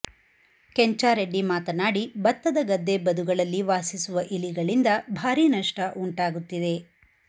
ಕೆಂಚಾರೆಡ್ಡಿ ಮಾತನಾಡಿ ಬತ್ತದ ಗದ್ದೆ ಬದುಗಳಲ್ಲಿ ವಾಸಿಸುವ ಇಲಿಗಳಿಂದ ಭಾರಿ ನಷ್ಟ ಉಂಟಾಗುತ್ತಿದೆ